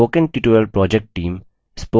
spoken tutorial project team